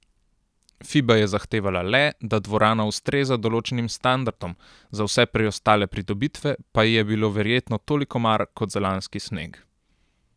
Fiba je zahtevala le, da dvorana ustreza določenim standardom, za vse preostale pridobitve pa ji je bilo verjetno toliko mar kot za lanski sneg.